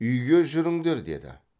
үйге жүріңдер деді